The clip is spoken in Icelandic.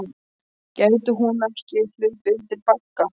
Gæti hún ekki hlaupið undir bagga?